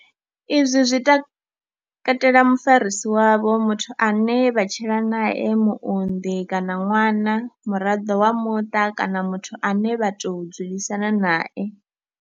Izwi zwi katela mufarisi wavho, muthu ane vha tshila nae, muunḓi kana ṅwana, muraḓo wa muṱa kana muthu ane vha tou dzulisana nae.